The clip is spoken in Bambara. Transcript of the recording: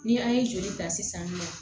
Ni an ye joli ta sisan nɔ